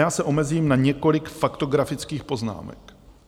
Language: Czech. Já se omezím na několik faktografických poznámek.